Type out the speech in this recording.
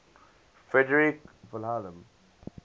frederick william